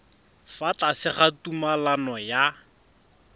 fa tlase ga tumalano ya